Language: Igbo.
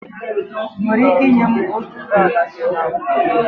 Ị́ nwere ike ị́nye m otuboala sị na ubi gị?